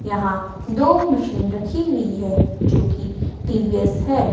यहां दो मशीन रखी हुई है जोकि टी_वी_एस है।